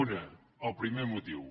un el primer motiu